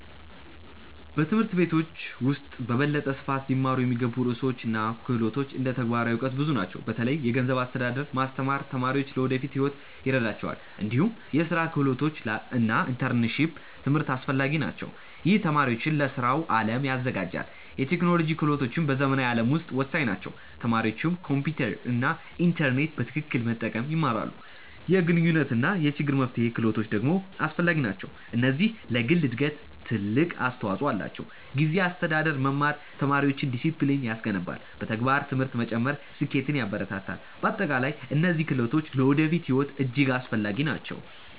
በትምህርት ቤቶች ውስጥ በበለጠ ስፋት ሊማሩ የሚገቡ ርዕሰ ጉዳዮች እና ክህሎቶች እንደ ተግባራዊ እውቀት ብዙ ናቸው። በተለይ የገንዘብ አስተዳደር ማስተማር ተማሪዎች ለወደፊት ሕይወት ይረዳቸዋል። እንዲሁም የስራ ክህሎቶች እና ኢንተርፕረነርሺፕ ትምህርት አስፈላጊ ናቸው። ይህ ተማሪዎችን ለስራው አለም ያዘጋጃል። የቴክኖሎጂ ክህሎቶችም በዘመናዊ ዓለም ውስጥ ወሳኝ ናቸው። ተማሪዎች ኮምፒውተር እና ኢንተርኔት በትክክል መጠቀም ይማራሉ። የግንኙነት እና የችግር መፍትሄ ክህሎቶች ደግሞ አስፈላጊ ናቸው። እነዚህ ለግል እድገት ትልቅ አስተዋፅኦ አላቸው። ጊዜ አስተዳደር መማር ተማሪዎችን ዲሲፕሊን ያስገነባል። በተግባር ትምህርት መጨመር ስኬትን ያበረታታል። በአጠቃላይ እነዚህ ክህሎቶች ለወደፊት ሕይወት እጅግ አስፈላጊ ናቸው።